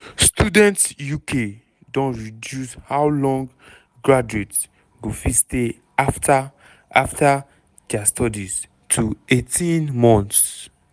students uk don reduce how long graduates go fit stay afta afta dia studies finish to 18 months.